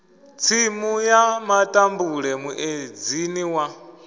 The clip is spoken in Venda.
tsimu ya matambule muedzini wa